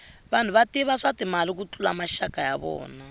vanhu va tiva swa timali ku tlula maxaka ya vona